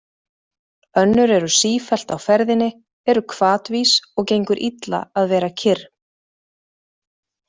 Önnur eru sífellt á ferðinni, eru hvatvís og gengur illa að vera kyrr.